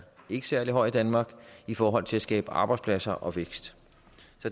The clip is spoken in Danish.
særlig høj i danmark i forhold til at skabe arbejdspladser og vækst